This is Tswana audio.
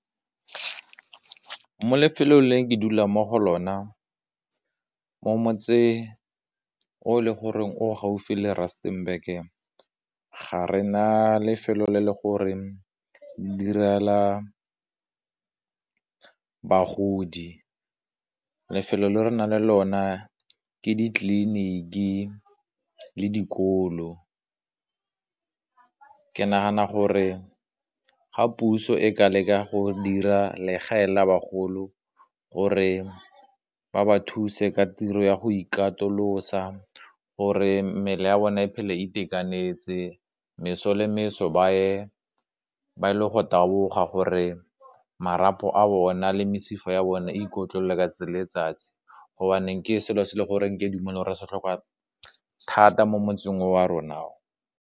Mo lefelong le ke dulang mo go lona, mo motseng o le gore o gaufi le Rustenburg-e, ga re na lefelo le le gore direla bagodi, lefelo le re na le lona ke ditleliniki le dikolo, ke nagana gore ka ga puso e ka leka go dira legae la bagolo, gore ba ba thuse ka tiro ya go ikatolosa, gore mmele ya bona e phele e itekanetse, meso le meso ba ye ba e le go taboga gore marapo a bona le mesifa ya bone e ikotlolle ka letsatsi gobaneng ke selo se e le goreng ke a dumela gore se tlhoka thata mo motseng wa rona.